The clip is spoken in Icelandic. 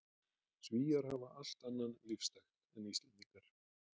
Svíar hafa allt annan lífstakt en Íslendingar.